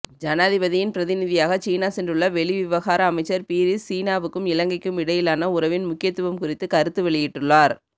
ஜனாதிபதியின் பிரதிநிதியாக சீனா சென்றுள்ள வெளிவிவகார அமைச்சர் பீரிஸ் சீனாவுக்கும் இலங்கைக்கும் இடையிலான உறவின் முக்கியத்துவம் குறித்து கருத்து வெளியிட்டுள்ளார்